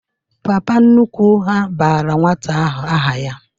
Papa nnukwu ha bara nwata ahụ aha ya